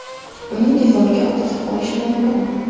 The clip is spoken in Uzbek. Uni devorga osib qo‘yish mumkin.